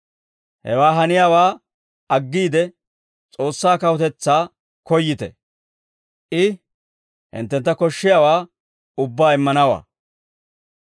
Hewaa haniyaawaa aggiide, S'oossaa kawutetsaa koyyite; I hinttentta koshshiyaawaa ubbaa immanawaa.